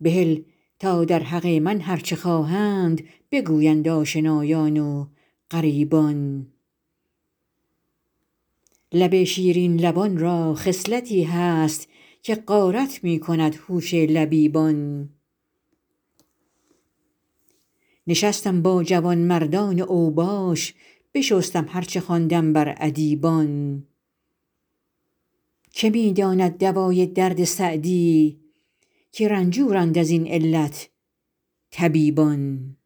بهل تا در حق من هر چه خواهند بگویند آشنایان و غریبان لب شیرین لبان را خصلتی هست که غارت می کند هوش لبیبان نشستم با جوانمردان اوباش بشستم هر چه خواندم بر ادیبان که می داند دوای درد سعدی که رنجورند از این علت طبیبان